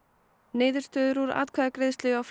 niðurstöður úr atkvæðagreiðslu hjá